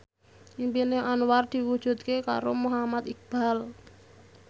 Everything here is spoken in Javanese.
impine Anwar diwujudke karo Muhammad Iqbal